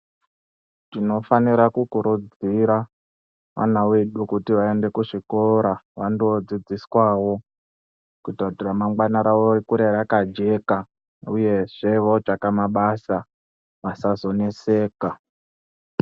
Tinofanira kukurudzira vana vedu kuti vaende kuzvikora vandodziswawo kuita kuti ramangwana rawo rikure rakajeka uyezve votsvaka mabasa vasazoneseka.